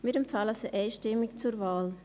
Wir empfehlen sie einstimmig zur Wahl.